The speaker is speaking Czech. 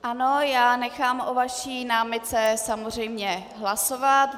Ano, já nechám o vaší námitce samozřejmě hlasovat.